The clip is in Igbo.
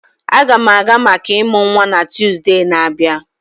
Aga m aga maka ịmụ nwa na Tuzdee na-abịa.